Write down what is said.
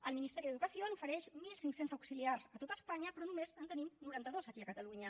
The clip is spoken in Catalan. el ministerio de educación ofereix mil cinc cents auxiliars a tot espanya però només en tenim noranta dos aquí a catalunya